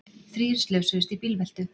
Þrír slösuðust í bílveltu